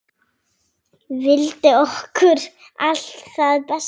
Vildi okkur allt það besta.